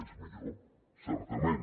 és millor certament